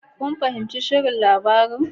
Kun fahimci shirin labarin